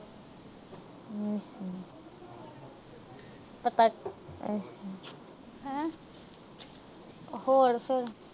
ਹੋਰ ਫਿਰ।